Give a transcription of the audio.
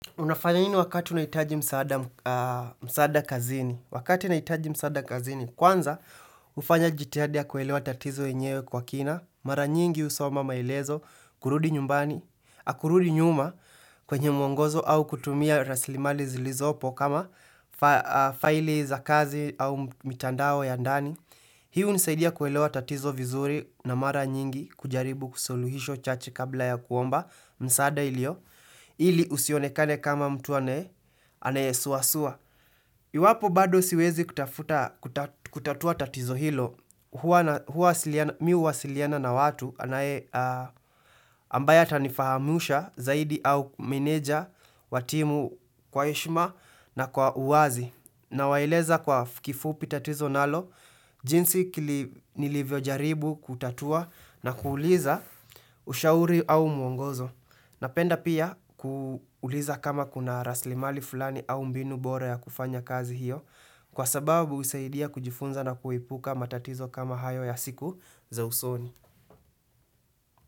Unafanya nini wakati unahitaji msaada kazini. Wakati ninahitaji msada kazini. Kwanza, hufanya jithadi ya kuelewa tatizo yenyewe kwa kina. Mara nyingi husoma maelezo, kurudi nyumbani, kurudi nyuma kwenye mwongozo au kutumia raslimali zilizopo kama faili za kazi au mitandao ya ndani. Hii hunisaidia kuelewa tatizo vizuri na mara nyingi kujaribu kusuluhisho chache kabla ya kuomba msaada ilio. Ili usionekane kama mtu anaye, anayesuasua. Iwapo bado siwezi kutafuta kutatua tatizo hilo, huwa mi huwasiliana na watu ambaye atanifahamisha zaidi au meneja wa timu kwa heshima na kwa uwazi. Nawaeleza kwa kifupi tatizo nalo, jinsi nilivyojaribu kutatua na kuuliza ushauri au muongozo. Na penda pia kuuliza kama kuna raslimali fulani au mbinu bora ya kufanya kazi hiyo kwa sababu husaidia kujifunza na kuipuka matatizo kama hayo ya siku za usoni.